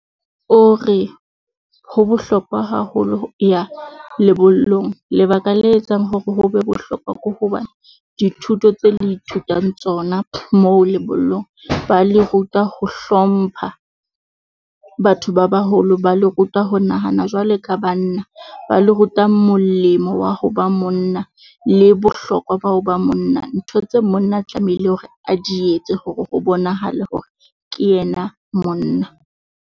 O re ho bohlokwa haholo ho ya lebollong, lebaka le etsang hore ho bohlokwa ke hoba dithuto tse le ithutang tsona mo lebollong. Ba le ruta ho hlompha batho ba baholo, ba le ruta ho nahana jwale ka banna, ba le rutang molemo wa ho ba monna le bohlokwa, bao ba monna. Ntho tse monna tlamehile hore a di etse hore ho bonahale hore ke yena monna.